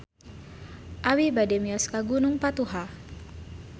Abi bade mios ka Gunung Patuha